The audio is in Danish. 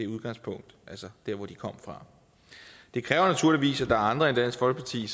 udgangspunktet altså der hvor de kom fra det kræver naturligvis at andre end dansk folkeparti